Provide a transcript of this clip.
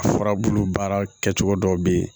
A furabulu baara kɛcogo dɔw bɛ yen